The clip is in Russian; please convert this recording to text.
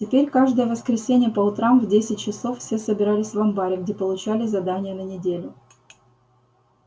теперь каждое воскресенье по утрам в десять часов все собирались в амбаре где получали задания на неделю